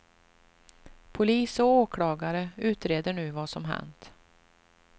Polis och åklagare utreder nu vad som hänt.